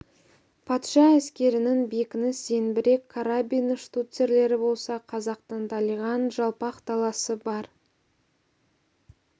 патша әскерінің бекініс зеңбірек карабин штуцерлері болса қазақтың далиған жалпақ даласы бар